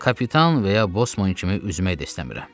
Kapitan və ya bosman kimi üzmək də istəmirəm.